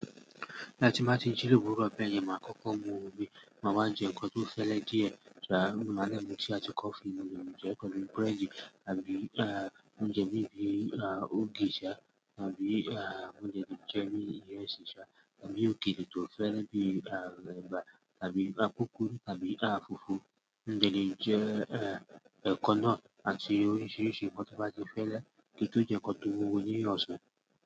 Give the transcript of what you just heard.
Ah ti n baa tí jí lòwúrọ̀ bàyẹ̀n, máa kọ́kọ́ mu omi, máa wá jẹ́ nnkán tó fẹ́lẹ́ díẹ̀, tàá máa lè mú tíi àtí kọfí, mo lè mú jẹ nnkán tó bí búrẹ́dì àbí oúnjẹ bí i ògì ṣá tàbí oúnjẹ bíi irẹ́ṣí ṣá tàbí ògì tó fẹ́lẹ́ bí i ẹ̀bà tàbí koko tàbí fùfú, mo de le je eko na àti oríṣìíríṣìí nkán tí o bá ti fẹ́lẹ́ kí tun ẹ nkán tó mu wuwo ní ọ̀sán.